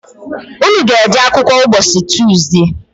Unu ga-eje akwụkwọ ụbọchị Tuzde?